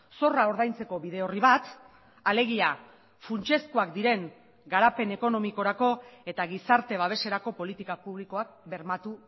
zorra ordaintzeko bide horri bat alegia funtsezkoak diren garapen ekonomikorako eta gizarte babeserako politika publikoak bermatu